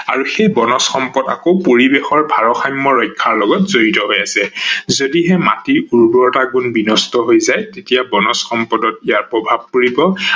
আৰু সেই বনজ সম্পদ আকৌ পৰিবেশৰ ভাৰষাম্য ৰক্ষাৰ লগত জড়িত হৈ আছে। যদিহে মাটিৰ উৰ্বৰতা গুণ বিনষ্ট হৈ যায় তেতিয়া বনজ সম্পদত ইয়াৰ প্ৰভাৱ পৰিব।